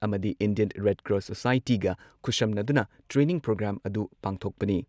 ꯑꯃꯗꯤ Indian red cross ꯁꯣꯁꯥꯏꯇꯤꯒ ꯈꯨꯠꯁꯝꯅꯗꯨꯅ ꯇ꯭ꯔꯦꯅꯤꯡ ꯄ꯭ꯔꯣꯒ꯭ꯔꯥꯝ ꯑꯗꯨ ꯄꯥꯡꯊꯣꯛꯄꯅꯤ ꯫